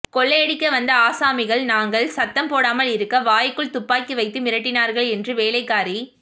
கொள்ளையடிக்க வந்த ஆசாமிகள் நாங்கள் சத்தம் போடாமல் இருக்க வாய்க்குள் துப்பாக்கி வைத்து மிரட்டினார்கள் என்று வேலைக்காரி